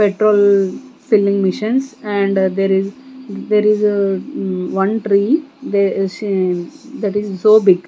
petrol filling machines and there is there is um one tree they she that is so big.